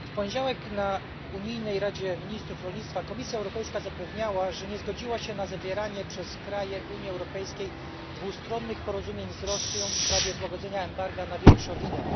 W poniedziałek na posiedzeniu unijnej Rady ministrów rolnictwa Komisja Europejska zapewniała, że nie zgodziła się na zawieranie przez kraje Unii Europejskiej dwustronnych porozumień z Rosją w sprawie złagodzenia embarga na wieprzowinę.